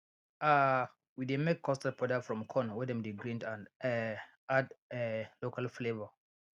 um we dey make custard powder from corn wey dem grind and um add um local flavour